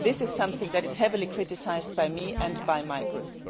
This is something that is heavily criticised by me and by my group.